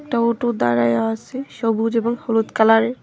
একটা অটো দাঁড়ায়া আসে সবুজ এবং হলুদ কালারের।